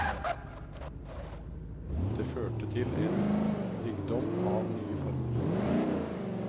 Det førte til en rikdom av nye former.